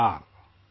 نمسکار !